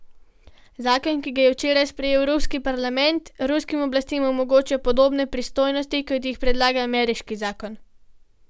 Zakon, ki ga je včeraj sprejel ruski parlament, ruskim oblastem omogoča podobne pristojnosti, kot jih predlaga ameriški zakon.